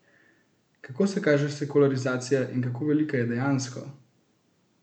Kako se kaže sekularizacija in kako velika je dejansko?